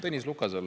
Tõnis Lukasel ...